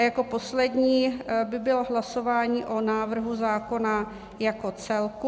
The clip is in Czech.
A jako poslední by bylo hlasování o návrhu zákona jako celku.